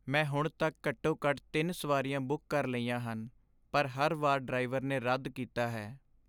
ਮੈਂ ਹੁਣ ਤੱਕ ਘੱਟੋ ਘੱਟ ਤਿੰਨ ਸਵਾਰੀਆਂ ਬੁੱਕ ਕਰ ਲਈਆਂ ਹਨ, ਪਰ ਹਰ ਵਾਰ ਡਰਾਈਵਰ ਨੇ ਰੱਦ ਕੀਤਾ ਹੈ